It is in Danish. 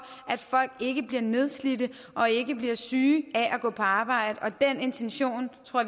at folk ikke bliver nedslidte og ikke bliver syge af at gå på arbejde og den intention tror